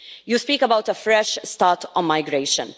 You speak about a fresh start on migration.